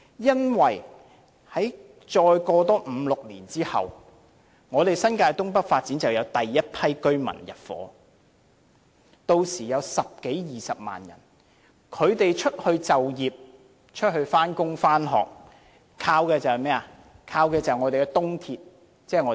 因為在五六年後，新界東北發展便會有第一批居民入伙，屆時有十多二十萬人，他們出外上班、上課，就是依靠東鐵。